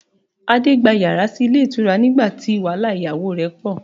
Adé gba yàrá sí ilé ìtura nígbà tí wàhálà ìyàwó rẹ̀ pọ